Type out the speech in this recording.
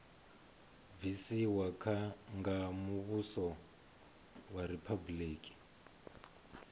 bvisiwa nga muvhuso wa riphabuliki